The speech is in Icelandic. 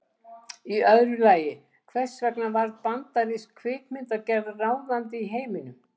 Og í öðru lagi, hvers vegna varð bandarísk kvikmyndagerð ráðandi í heiminum?